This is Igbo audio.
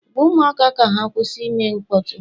Gwa ụmụaka ka ha kwụsị ime mkpọtụ!